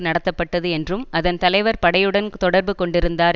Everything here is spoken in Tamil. நடத்தப்பட்டது என்றும் அதன் தலைவர் படையுடன் தொடர்பு கொண்டிருந்தார்